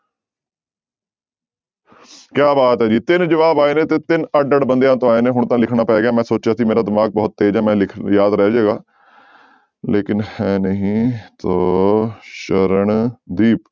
ਕਿਆ ਬਾਤ ਹੈ ਜੀ ਤਿੰਨ ਜਵਾਬ ਆਏ ਨੇ ਤੇ ਤਿੰਨ ਅੱਡ ਅੱਡ ਬੰਦਿਆਂ ਤੋਂ ਆਏ ਨੇ ਹੁਣ ਤਾਂ ਲਿਖਣਾ ਪੈ ਗਿਆ, ਮੈਂ ਸੋਚਿਆ ਸੀ ਮੇਰਾ ਦਿਮਾਗ ਬਹੁਤ ਤੇਜ ਹੈ ਮੈਂ ਲਿਖ ਯਾਦ ਰਹਿ ਜਾਏਗਾ ਲੇਕਿੰਨ ਹੈ ਨਹੀਂ ਸੋ ਸਰਨਦੀਪ,